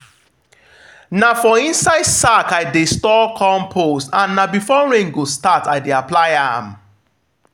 na for inside sack i dey store compost and na before rain go start i dey apply am.